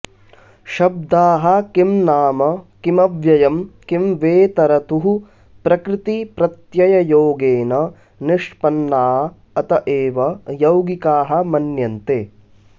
शब्दाः किं नाम किमव्ययं किं वेतरतुः प्रकृती प्रत्यययोगेन निष्पन्ना अत एव यौगिका मन्यन्ते